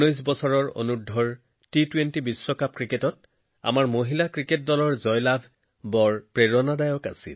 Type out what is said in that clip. ১৯বছৰ অনূৰ্ধ্ব টি২০ ক্ৰিকেট বিশ্বকাপত আমাৰ মহিলা ক্ৰিকেট দলৰ জয় অতি প্ৰেৰণাদায়ক